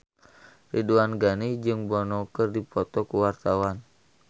Ridwan Ghani jeung Bono keur dipoto ku wartawan